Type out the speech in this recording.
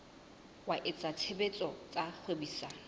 wa etsa tshebetso tsa kgwebisano